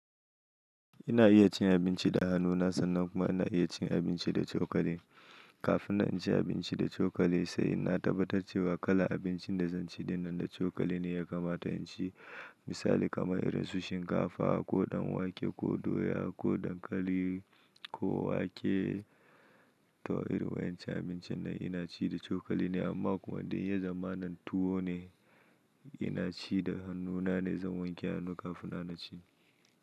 Ina iya cin abinci da hannuna sannan kuma ina iya cin abinci da chokali. Kafin na ci abinci da chokali, sai na tabbatar cewa kalan abincin da zan ci dinnan da chokali ne ya kamata in ci. Misali kamar irin sushi, shinkafa, ko ɗanwake, ko doya, ko dankali, ko wake, toh irin wayan cin abincin nan ina ci da chokali ne amma kuma dai ya zamanin tuwo ne ina ci da hannuna ne zan wanke hannu kafin nan ci.